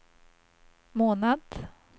månad